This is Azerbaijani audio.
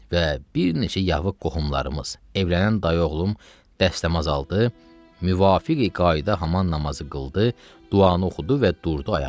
Və bir neçə yavıq qohumlarımız evlənən dayı oğlum dəstəmaz aldı, müvafiqi qayda haman namazı qıldı, duanı oxudu və durdu ayağa.